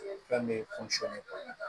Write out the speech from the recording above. Fɛn bɛ